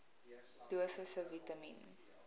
dosisse vitamien